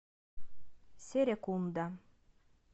серекунда